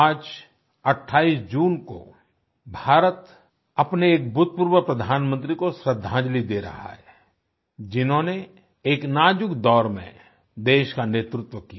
आज 28 जून को भारत अपने एक भूतपूर्व प्रधानमंत्री को श्रृद्धांजलि दे रहा है जिन्होंने एक नाजुक दौर में देश का नेतृत्व किया